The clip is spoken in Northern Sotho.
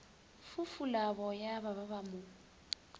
fufula boya ba ba mo